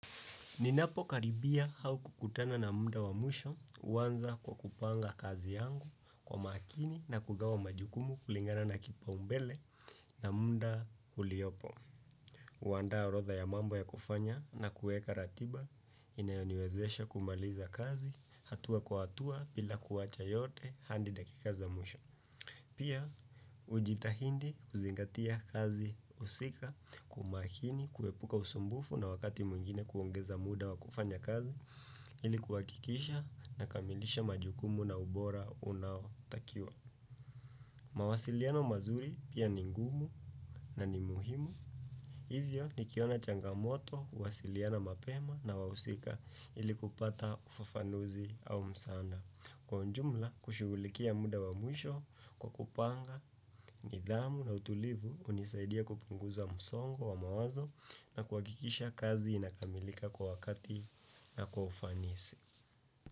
Ninapo karibia au kukutana na mda wa mwisho huanza kwa kupanga kazi yangu kwa makini na kugawa majukumu kulingana na kipa umbele na mda uliopo. Huandaa orotha ya mambo ya kufanya na kuweka ratiba inayoniwezesha kumaliza kazi hatua kwa hatua bila kuacha yote hadi dakika za mwisho. Pia, ujitahindi kuzingatia kazi husika kwa umakini kuepuka usumbufu na wakati mwingine kuongeza muda wa kufanya kazi ilikuhakikisha na kamilisha majukumu na ubora unaotakiwa. Mawasiliana mazuri pia ni ngumu na ni muhimu. Hivyo, nikiona changamoto, uwasiliana mapema na wahusika ilikupata ufafanuzi au msaanda. Kwa ujumla, kushugulikia muda wa mwisho, kwa kupanga, nidhamu na utulivu, unisaidia kupunguza msongo wa mawazo na kuha kikisha kazi inakamilika kwa wakati na kwa ufanisi.